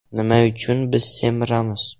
Nima uchun biz semiramiz?